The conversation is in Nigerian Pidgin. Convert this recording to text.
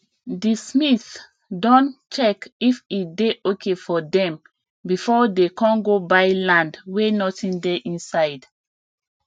the smiths don check if e dey ok for them before dey con go buy land wey nothing dey inside